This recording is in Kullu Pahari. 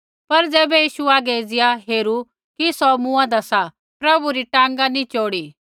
पर ज़ैबै यीशु आगै एज़िया हेरू कि सौ मुँआन्दा सा प्रभु री टाँगा नी चोड़ी